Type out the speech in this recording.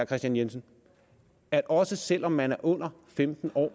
kristian jensen at også selv om man er under femten år